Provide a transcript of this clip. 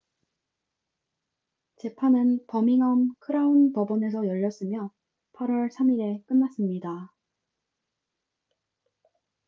재판은 버밍엄 크라운 법원에서 열렸으며 8월 3일에 끝났습니다